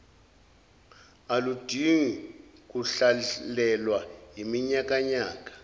aludingi kuhlalelwa iminyakanyaka